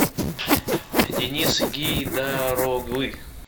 денис гейдар оглы